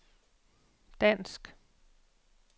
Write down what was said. dansk